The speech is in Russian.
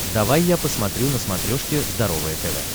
давай я посмотрю на смотрешке здоровое тв